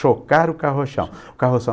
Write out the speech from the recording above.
Chocar o carrochão, carroção.